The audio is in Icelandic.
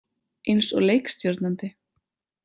Eins og leikstjórnandi.